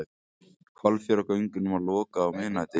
Hvalfjarðargöngunum lokað á miðnætti